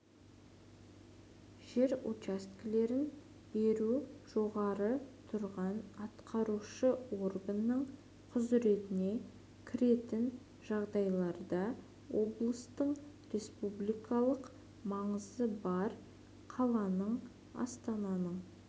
жер учаскелерін беру жоғары тұрған атқарушы органның құзыретіне кіретін жағдайларда облыстың республикалық маңызы бар қаланың астананың